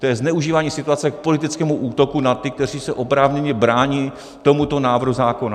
To je zneužívání situace k politickému útoku na ty, kteří se oprávněně brání tomuto návrhu zákona.